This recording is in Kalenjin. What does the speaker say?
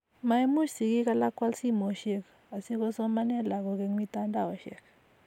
maimuch sigik alak koal simoisiek, asikusomane lagok eng' mitandaosiek